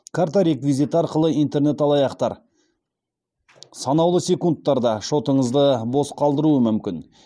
карта реквизиті арқылы интернет алаяқтар санаулы секундтарда шотыңызды бос қалдыруы мүмкін